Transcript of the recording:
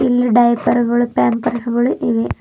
ಇಲ್ಲಿ ಡೈಪರ್ ಗಳು ಪಾಂಪರ್ಸ್ ಗಳು ಇವೆ.